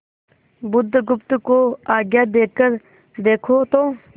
बुधगुप्त को आज्ञा देकर देखो तो